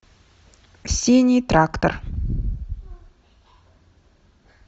синий трактор